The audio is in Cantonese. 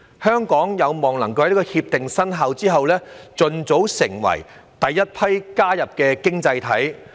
香港有望在《協定》生效後，盡早成為第一批加入《協定》的經濟體。